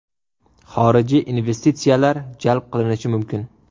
Xorijiy investitsiyalar jalb qilinishi mumkin.